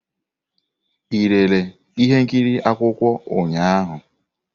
Ị lere ihe nkiri akwụkwọ ụnyahụ?